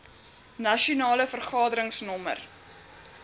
nasionale vergadering nr